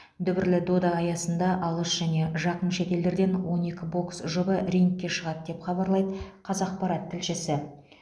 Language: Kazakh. дүбірлі дода аясында алыс және жақын шетелдерден он екі бокс жұбы рингке шығады деп хабарлайды қазақпарат тілшісі